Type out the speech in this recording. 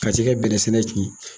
Ka sin ka bɛnɛ sɛnɛ ciyɛn.